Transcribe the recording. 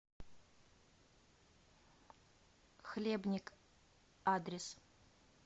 хлебник адрес